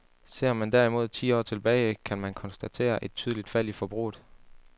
Ser man derimod ti år tilbage, kan man konstatere et tydeligt fald i forbruget.